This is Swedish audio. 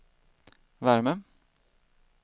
värme